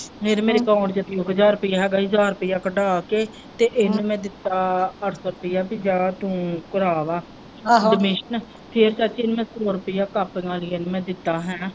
ਫਿਰ ਮੇਰੇ account ਚ ਛੇ ਹਜਾਰ ਰੁਪਇਆ ਹੈ ਗਾ ਹੀ ਹਜਾਰ ਰੁਪਇਆ ਕੱਢਾ ਕੇ ਤੇ ਇਹਨੂੰ ਮੈਂ ਦਿੱਤਾ ਅੱਠ ਸੋ ਰੁਪਇਆ ਪੀ ਜਾ ਤੂੰ ਕਰਾ ਆ ਵਾ admission ਫਿਰ ਚਾਚੀ ਮੈਂ ਇਹਨੂੰ ਸੋ ਰੁਪਇਆ ਕਾਪੀਆਂ ਲਈ ਦਿੱਤਾ ਹੈ ਨਾ।